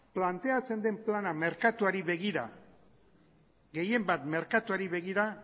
planteatzen den plana merkatuari begira gehien bat merkatuari begira